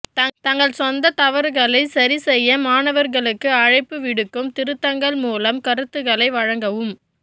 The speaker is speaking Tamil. தங்கள் சொந்த தவறுகளை சரிசெய்ய மாணவர்களுக்கு அழைப்பு விடுக்கும் திருத்தங்கள் மூலம் கருத்துக்களை வழங்கவும்